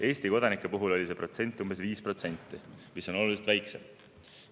Eesti kodanike puhul oli see protsent umbes 5%, mis on oluliselt väiksem.